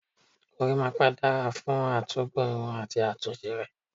Gorímápá dára fún à tún gùn irun àti àtúnṣe rẹ̀.